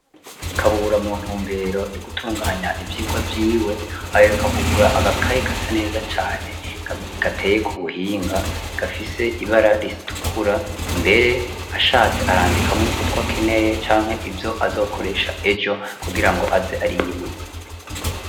Kabura mu ntumbero yo gutunganya ivyigwa vyiwe, aheruka kugura agakaye gasa neza ccane gateye ku buhinga gafise ibara ritukura mbere ashatse arandikamwo utwo akeneye canke ivyo azokoresha ejo kugirango aze ariyibutsa.